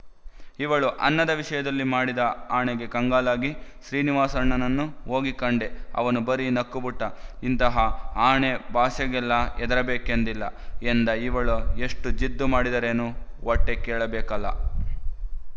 ಇವಳು ಅನ್ನದ ವಿಷಯದಲ್ಲಿ ಮಾಡಿದ ಆಣೆಗೆ ಕಂಗಾಲಾಗಿ ಶ್ರೀನಿವಾಸಣ್ಣನನ್ನು ಹೋಗಿ ಕಂಡೆ ಅವನು ಬರಿ ನಕ್ಕುಬಿಟ್ಟ ಇಂತಹ ಆಣೆ ಭಾಷೆಗೆಲ್ಲ ಹೆದರಬೇಕೆಂದಿಲ್ಲ ಎಂದ ಇವಳು ಎಷ್ಟು ಜಿದ್ದು ಮಾಡಿದರೇನು ಹೊಟ್ಟೆ ಕೇಳಬೇಕಲ್ಲ